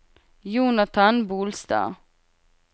Jonathan Bolstad